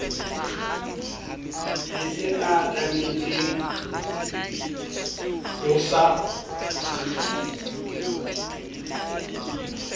be se atametseng ho sa